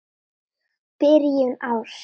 Byrjun árs.